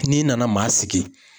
N'i nana maa sigi